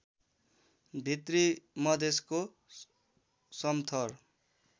भित्री मधेशको समथर